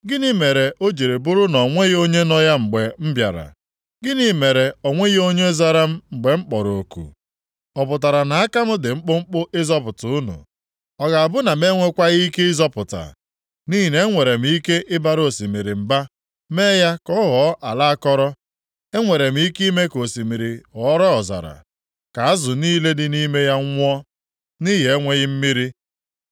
Gịnị mere o ji bụrụ na o nweghị onye nọ ya mgbe m bịara? Gịnị mere o nweghị onye zara m mgbe m kpọrọ oku? Ọ pụtara na aka m dị mkpụmkpụ ịzọpụta unu? Ọ ga-abụ na m enwekwaghị ike ịzọpụta? Nʼihi na enwere m ike ịbara osimiri mba mee ya ka ọ ghọọ ala akọrọ. Enwere m ike ime ka osimiri ghọrọ ọzara, ka azụ niile dị nʼime ya nwụọ nʼihi enweghị mmiri.